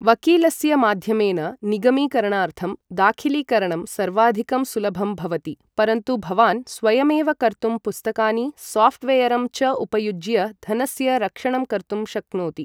वकिलस्य माध्यमेन निगमीकरणार्थं दाखिलीकरणं सर्वाधिकं सुलभं भवति, परन्तु भवान् स्वयमेव कर्तुं पुस्तकानि, सॉफ्टवेयरं च उपयुज्य धनस्य रक्षणं कर्तुं शक्नोति।